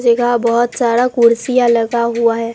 जेगाह बहोत सारा कुर्सियां लगा हुआ है।